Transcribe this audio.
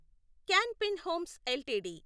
can fin homes LTD